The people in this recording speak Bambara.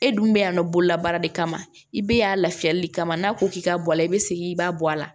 E dun bɛ yen nɔ bololabaara de kama i bɛ yan lafiya de kama n'a ko k'i ka bɔ a la i bɛ segin i b'a bɔ a la